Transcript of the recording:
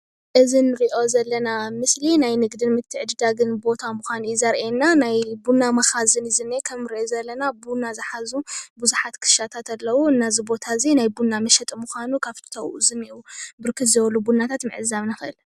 እዚ ንሪኦ ዘለና ምስሊ ናይ ንግድን ምትዕድዳግን ቦታ ሙኻኑ እዩ ዘርእየና ናይ ቡና መካዝን እዩ ዝንሄ ከምንሪኦ ዘለና ቡና ዝሓዙ ብዙሓት ክሻታት ኣለዉ እና ዝ ቦታ እዚ ናይ ቡና መሸጢ ሙኻኑ ካፍቲ ኣብኡ ዝንሄዉ ብርክት ዝበሉ ቡናታት ምዕዛብ ንክእል::